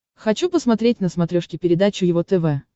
хочу посмотреть на смотрешке передачу его тв